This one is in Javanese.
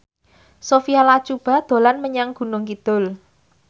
Sophia Latjuba dolan menyang Gunung Kidul